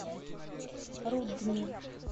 рудни